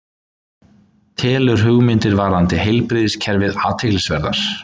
Telur hugmyndir varðandi heilbrigðiskerfið athyglisverðar